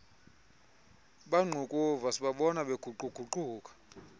bangqukuva sibabona beguquguquka